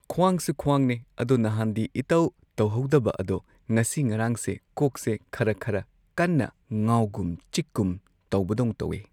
ꯈ꯭ꯋꯥꯡꯁꯨ ꯈ꯭ꯋꯥꯡꯅꯦ ꯑꯗꯣ ꯅꯍꯥꯟꯗꯤ ꯏꯇꯧ ꯇꯧꯍꯧꯗꯕ ꯑꯗꯣ ꯉꯁꯤ ꯉꯔꯥꯡꯁꯦ ꯀꯣꯛꯁꯦ ꯈꯔ ꯈꯔ ꯀꯟꯅ ꯉꯥꯎꯒꯨꯝ ꯆꯤꯛꯀꯨꯝ ꯇꯧꯕꯗꯧꯟ ꯇꯧꯋꯦ꯫